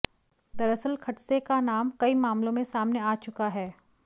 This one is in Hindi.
दरअसल खडसे का नाम कई मामलों में सामने आ चुका है